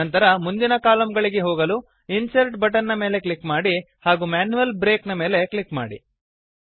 ನಂತರ ಮುಂದಿನ ಕಾಲಮ್ ಗಳಿಗೆ ಹೋಗಲು ಇನ್ಸರ್ಟ್ ಬಟನ್ ನ ಮೇಲೆ ಕ್ಲಿಕ್ ಮಾಡಿ ಹಾಗೂ ಮ್ಯಾನ್ಯುಯಲ್ ಬ್ರೇಕ್ ನ ಮೇಲೆ ಕ್ಲಿಕ್ ಮಾಡಿ